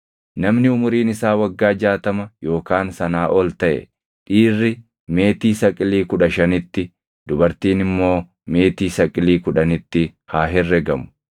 Namni umuriin isaa waggaa jaatama yookaan sanaa ol taʼe dhiirri meetii saqilii kudha shanitti, dubartiin immoo meetii saqilii kudhanitti haa herregamu.